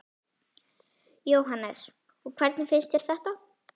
Jóhannes: Og hvernig finnst þér þetta?